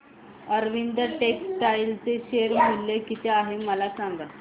Arvind textile चे share मूल्य किती आहे मला सांगा